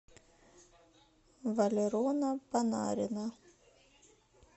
валерона панарина